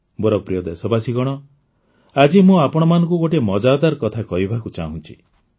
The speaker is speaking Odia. ମୋର ପ୍ରିୟ ଦେଶବାସୀଗଣ ଆଜି ମୁଁ ଆପଣଙ୍କୁ ଆଉ ଗୋଟିଏ ମଜାଦାର କଥା କହିବାକୁ ଚାହୁଁଛି